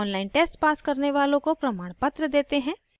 online test pass करने वालों को प्रमाणपत्र भी देते हैं